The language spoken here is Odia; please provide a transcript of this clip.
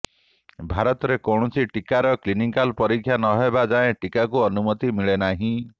ଭାରତରେ କୌଣସି ଟିକାର କ୍ଲିନିକାଲ ପରୀକ୍ଷା ନହେବା ଯାଏ ଟିକାକୁ ଅନୁମତି ମିଳେ ନାହିଁ